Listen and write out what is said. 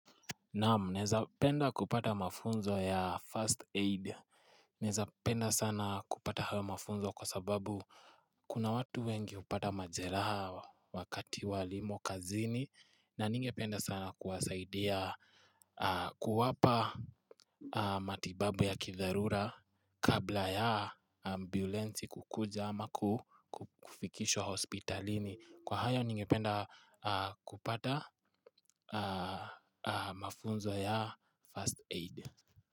Na'am naeza penda kupata mafunzo ya first aid Naeza penda sana kupata hayo mafunzo kwa sababu kuna watu wengi hupata majeraha wakati walimo kazini na ningependa sana kuwasaidia, kuwapa matibabu ya kidharura kabla ya ambulansi kukuja ama kufikishwa hospitalini. Kwa hayo ningependa kupata mafunzo ya First Aid.